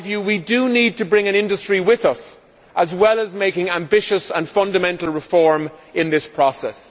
we need to bring an industry with us, as well as making ambitious and fundamental reform in this process.